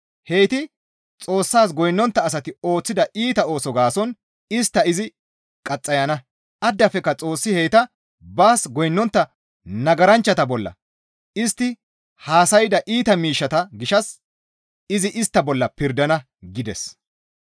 Heyti Xoossas goynnontta asati ooththida iita ooso gaason istta izi qaxxayana; addafekka Xoossi heyta baas goynnontta nagaranchchata bolla istti haasayda iita miishshata gishshas izi istta bolla pirdana» gides.